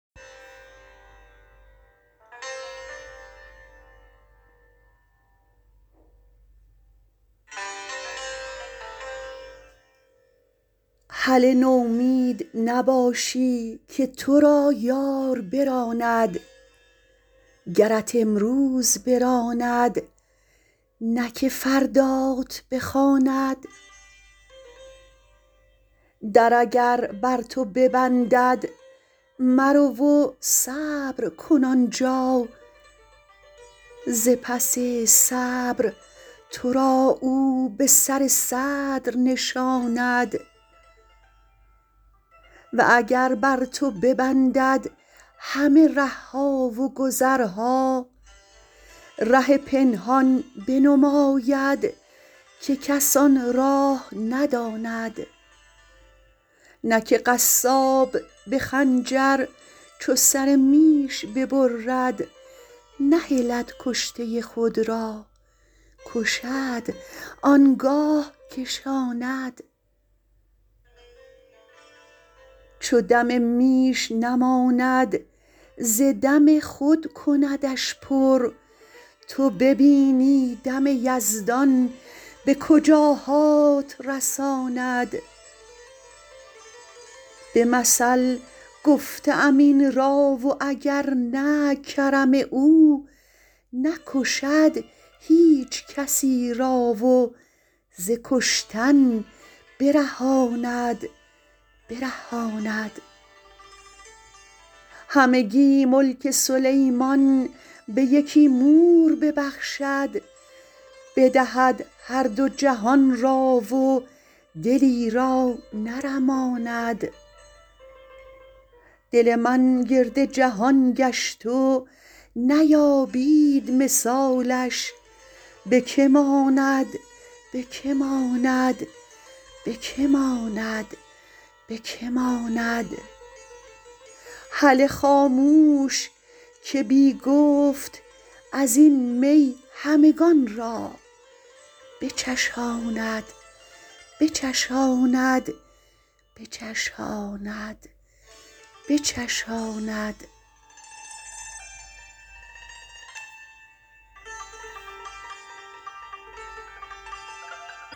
هله نومید نباشی که تو را یار براند گرت امروز براند نه که فردات بخواند در اگر بر تو ببندد مرو و صبر کن آن جا ز پس صبر تو را او به سر صدر نشاند و اگر بر تو ببندد همه ره ها و گذرها ره پنهان بنماید که کس آن راه نداند نه که قصاب به خنجر چو سر میش ببرد نهلد کشته خود را کشد آن گاه کشاند چو دم میش نماند ز دم خود کندش پر تو ببینی دم یزدان به کجاهات رساند به مثل گفته ام این را و اگر نه کرم او نکشد هیچ کسی را و ز کشتن برهاند همگی ملک سلیمان به یکی مور ببخشد بدهد هر دو جهان را و دلی را نرماند دل من گرد جهان گشت و نیابید مثالش به که ماند به که ماند به که ماند به که ماند هله خاموش که بی گفت از این می همگان را بچشاند بچشاند بچشاند بچشاند